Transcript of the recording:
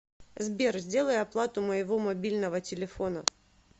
сбер сделай оплату моего мобильного телефона